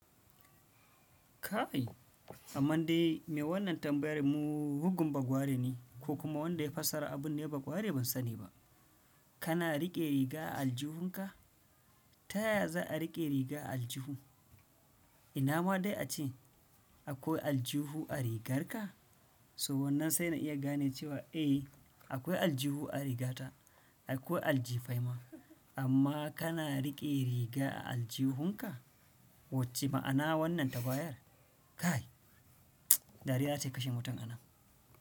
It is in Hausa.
Kai! Amma dai me wannan tambayar mu bugun bagware ne ko kuma wanda ya fassara abun ne ba ƙwari ban sani ba. Kana riƙe riga a aljihunka? Ta yaya za a riƙe riga a aljihu? Ina ma dai ace akwai aljihu a rigarka? So wannan sai na iya gane cewa, ei akwai aljihu a rigata, akwai aljifai ma. Amma kana riƙe riga a aljihunka? Wacce ma'ana wannan tambayar? Kai! Dariya za ta kashe mutum a nan.